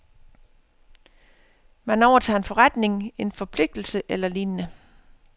Man overtager en forretning, en forpligtelse eller lignende.